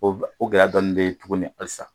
O b o gɛlɛya dɔɔnin bɛ yen tuguni halisa.